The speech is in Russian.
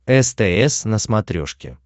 стс на смотрешке